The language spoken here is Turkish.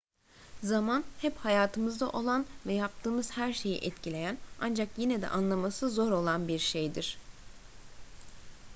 zaman hep hayatımızda olan ve yaptığımız her şeyi etkileyen ancak yine de anlaması zor olan bir şeydir